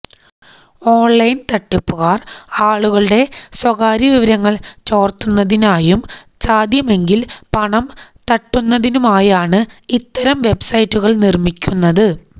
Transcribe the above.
online തട്ടിപ്പുകാര് ആളുകളുടെ സ്വകാര്യ വിവരങ്ങള് ചോര്ത്തുന്നതിനായും സാധ്യമെങ്കില് പണം തട്ടുന്നതിനുമായാണ് ഇത്തരം വെബ്സൈറ്റുകള് നിര്മിക്കുന്നത്